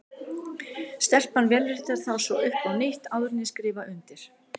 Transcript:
Stelpan vélritar þá svo upp á nýtt, áður en ég skrifa undir.